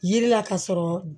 Yiri la kasɔrɔ